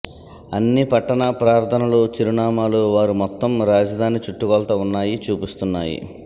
అన్ని పట్టణ ప్రార్ధనలు చిరునామాలు వారు మొత్తం రాజధాని చుట్టుకొలత ఉన్నాయి చూపిస్తున్నాయి